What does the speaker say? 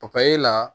papaye la